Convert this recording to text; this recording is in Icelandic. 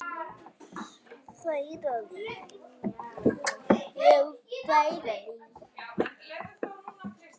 Má fá allt, eða ekkert.